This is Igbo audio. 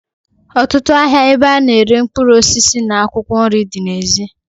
Otutu ahia ebe ana ere mkpuruosisi na akwokwo nri di na ezi.